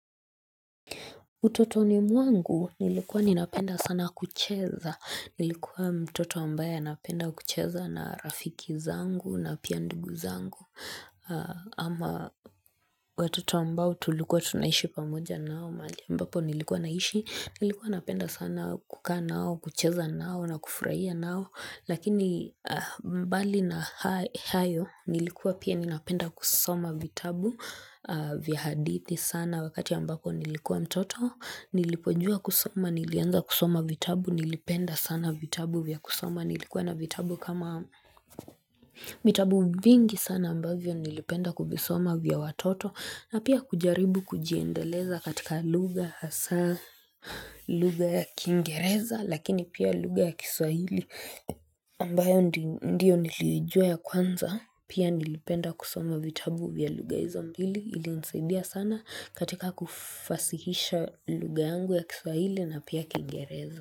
Utotoni mwangu nilikuwa ninapenda sana kucheza nilikuwa mtoto ambaye anapenda kucheza na rafiki zangu na pia ndugu zangu ama watoto ambao tulikuwa tunaishi pamoja nao mahali ambapo nilikuwa naishi nilikuwa napenda sana kukaa nao kucheza nao na kufurahia nao lakini mbali na hayo nilikuwa pia ninapenda kusoma vitabu vya hadithi sana wakati ambapo nilikuwa mtoto Nilipojua kusoma nilianza kusoma vitabu nilipenda sana vitabu vya kusoma nilikuwa na vitabu kama vitabu vingi sana ambavyo nilipenda kuvisoma vya watoto na pia kujaribu kujiendeleza katika lugha hasa lugha ya kingereza lakini pia lugha ya kiswahili ambayo ndiyo nilijua ya kwanza Pia nilipenda kusoma vitabu vya lugha hizo mbili ilinisaidia sana katika kufasihisha lugha yangu ya kiswahili na pia kingereza.